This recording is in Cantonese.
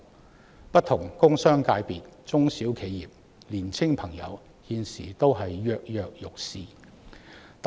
就此，不同工商界別、中小企業及青年人現時都躍躍欲試。